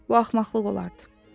Bu axmaqlıq olardı.